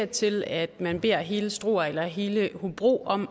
til at man beder hele struer eller hele hobro om